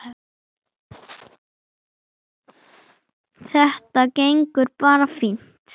Það var mín mesta gæfa.